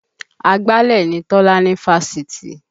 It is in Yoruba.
Agbálẹ̀ ni Tọ́lá ní fásitì